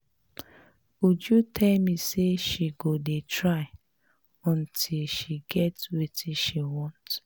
Uju tell me say she go dey try until she get wetin she want